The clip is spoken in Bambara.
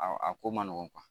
Aw a ko man nɔgɔn